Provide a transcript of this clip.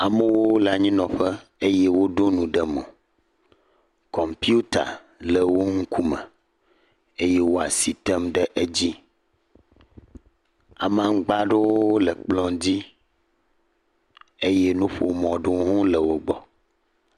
Amewo le anyinɔƒe eye woɖɔ nu ɖe mo, kɔputa le wo ŋkume eye wo asi tem ɖem ɖe edzi. Amagba ɖewo le kplɔ dzi eye nuƒomɔ ɖewo hã le wo gbɔ.